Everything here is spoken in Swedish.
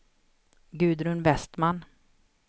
Gudrun Westman